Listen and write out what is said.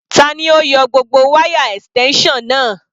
Tani ó yọ gbogbo wáyà extension náà?